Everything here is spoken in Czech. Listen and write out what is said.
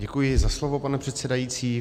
Děkuji za slovo, pane předsedající.